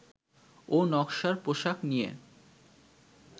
ও নকশার পোশাক নিয়ে